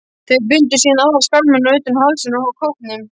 Þeir bundu síðan aðra skálmina utan um hálsinn á kópnum.